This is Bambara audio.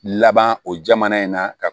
Laban o jamana in na ka